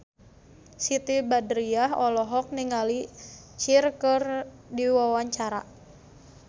Siti Badriah olohok ningali Cher keur diwawancara